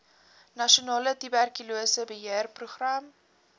nasionale tuberkulose beheerprogram